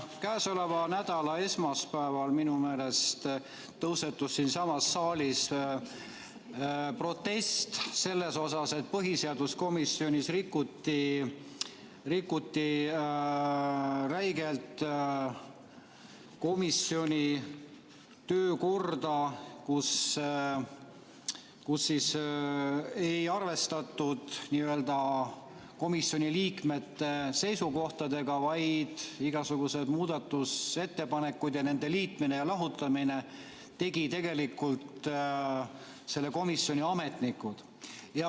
Käesoleva nädala esmaspäeval minu meelest tõusetus siinsamas saalis protest selle pärast, et põhiseaduskomisjonis rikuti räigelt komisjoni töökorda, seal ei arvestatud komisjoni liikmete seisukohtadega, vaid igasugused muudatusettepanekud ja nende liitmise-lahutamise tegid tegelikult selle komisjoni ametnikud.